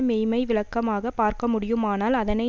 மெய்மை விளக்கமாகப் பார்க்க முடியுமானால் அதனை